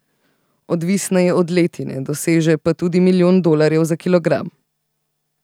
Odvisna je od letine, doseže pa tudi milijon dolarjev za kilogram.